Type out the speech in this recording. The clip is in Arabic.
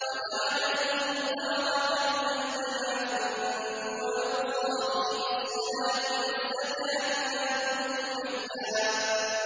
وَجَعَلَنِي مُبَارَكًا أَيْنَ مَا كُنتُ وَأَوْصَانِي بِالصَّلَاةِ وَالزَّكَاةِ مَا دُمْتُ حَيًّا